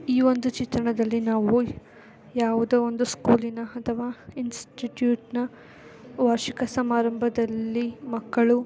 ಈ ಒಂದು ಚಿತ್ರಣದಲ್ಲಿ ನಾವು ಯಾವುದೋ ಒಂದು ಸ್ಕೂಲ್‌ ನ ಅಥವಾ ಇನ್ಸ್ಟಿಟೂಟ್ನ್‌ ನ ವಾರ್ಷಿಕ ಸಮಾರಂಭದಲ್ಲಿ ಮಕ್ಕಳು--